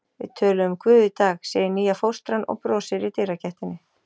Við töluðum um Guð í dag, segir nýja fóstran og brosir í dyragættinni.